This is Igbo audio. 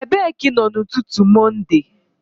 Ebee ka ị nọ n'ụtụtụ Mọnde?